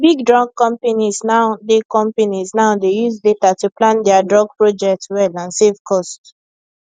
big drug companies now dey companies now dey use data to plan dia drug project well and save cost